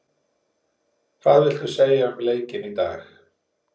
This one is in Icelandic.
Hvað viltu segja um leikinn í dag?